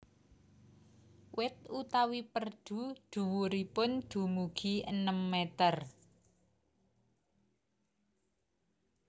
Wit utawi perdu dhuwuripun dumugi enem meter